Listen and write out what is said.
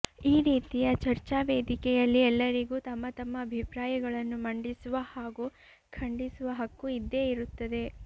ಈ ರೀತಿಯ ಚರ್ಚಾ ವೇದಿಕೆಯಲ್ಲಿ ಎಲ್ಲರಿಗೂ ತಮ್ಮ ತಮ್ಮ ಅಭಿಪ್ರಾಯಗಳನ್ನು ಮಂಡಿಸುವ ಹಾಗೂ ಖಂಡಿಸುವ ಹಕ್ಕು ಇದ್ದೇ ಇರುತ್ತದೆ